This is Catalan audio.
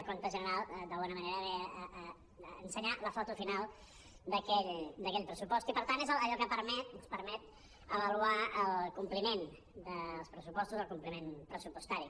el compte general d’alguna manera ve a ensenyar la foto final d’aquell pressupost i per tant és allò que permet ens permet avaluar el compliment dels pressupostos el compliment pressupostari